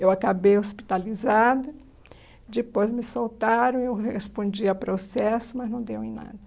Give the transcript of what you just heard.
Eu acabei hospitalizada, depois me soltaram e eu respondi a processo, mas não deu em nada.